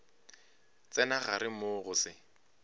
tsena gare moo go se